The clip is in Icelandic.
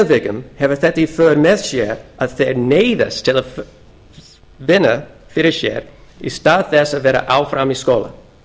tilvikum hefur þetta í för með sér að þeir neyðast til að vinna fyrir sér í stað þess að vera áfram í skóla